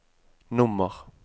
nummer